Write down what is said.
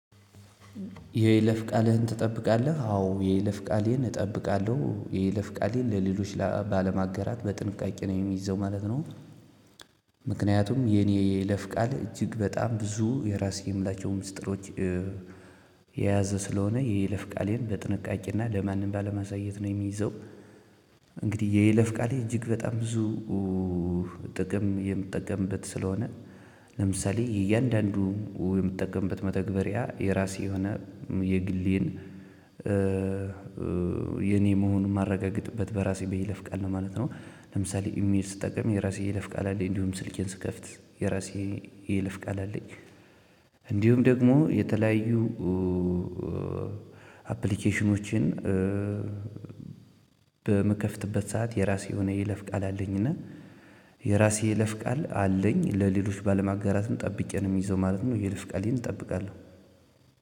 የይለፍ ቃልህን ትጠብቃለህ? አዎ የይለፍ ቃሌን እጠብቃለሁ የይለፍ ቃሌን ለሌሎች ባለማገራት በጥንቃቄ ነው የሚይዘው ማለት ነው። ምክንያቱም የኔ የይለፍ ቃል እጅግ በጣም ብዙ የራሴ የምላቸው ምስጢሮች። የያዘ ስለሆነ የይለፍ ቃሌን በጥንቃቄና ለማንም ባለማሳየት ነው የሚይዘው። እንግዲህ የይለፍ ቃሌ እጅግ በጣም ብዙ ጥቅም የምጠቀምበት ስለሆነ። ለምሳሌ እያንዳንዱ የምትጠቀምበት መተግበሪያ የራሴ የሆነ የግሌን። የኔ መሆን ማረጋግጥበት በራሴ በይለፍቃ ቃል ነው ማለት ነው። ለምሳሌ ኢሜል ስትጠቀም የራሴ የይለፍ ቃል አለኝ እንዲሁም ስልኬን ስከፍት የራሴ የለፍ ቃል አለኝ። እንዲሁም ደግሞ የተለያዩ አፕሊኬሽኖችን በምከፍትበት ሰዓት የራሴ የሆነ የይለፍ ቃል አለኝ። እና የራሴ የይለፍ ቃል አለኝ ለሌሎች ባለማጋራትም ጠብቄ ነው ሚይዘው ማለት ነው። የይለፍ ቃሌን እጠብቃለሁ።